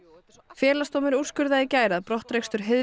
Félagsdómur úrskurðaði í gær að brottrekstur